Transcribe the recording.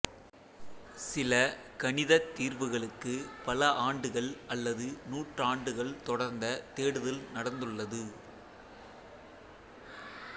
சில கணிதத் தீர்வுகளுக்கு பல ஆண்டுகள் அல்லது நூற்றாண்டுகள் தொடர்ந்த தேடுதல் நடந்துள்ளது